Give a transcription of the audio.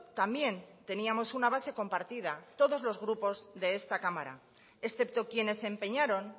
también teníamos una base compartida todos los grupos de esta cámara excepto quienes se empeñaron